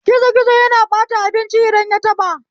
Gizo gizo yana ɓata abinci idan yataɓa